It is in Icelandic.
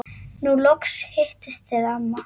Nú loks hittist þið amma.